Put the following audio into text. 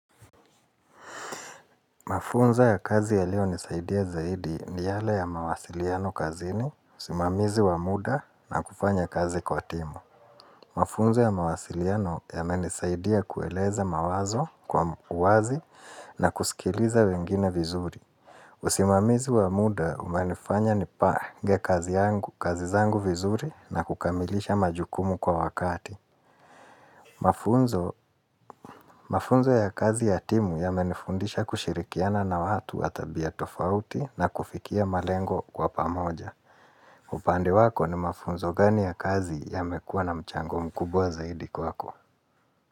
Mafunzo ya kazi yalionisaidia zaidi ni yale ya mawasiliano kazini, usimamizi wa muda na kufanya kazi kwa timu. Mafunzo ya mawasiliano yamenisaidia kueleza mawazo kwa mkuwazi na kusikiliza wengine vizuri. Usimamizi wa muda umenifanya nipange kazi zangu vizuri na kukamilisha majukumu kwa wakati. Mafunzo ya kazi ya timu yamenifundisha kushirikiana na watu wa tabia tofauti na kufikia malengo kwa pamoja upande wako ni mafunzo gani ya kazi yamekua na mchango mkubwa zaidi kwako.